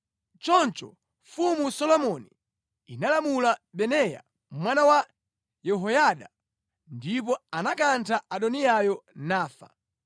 Choncho Mfumu Solomoni inalamula Benaya mwana wa Yehoyada ndipo anakantha Adoniyayo, nafa.